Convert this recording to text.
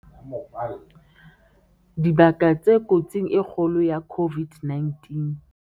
Dibaka tse kotsing e kgolo ya COVID-19